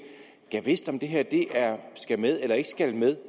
gad vidst om det her skal med eller ikke skal med